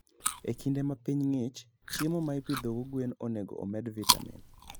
E kinde ma piny ng'ich, chiemo ma ipidhogo gwen onego omed vitamin.